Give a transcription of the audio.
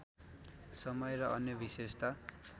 समय र अन्य विशेषता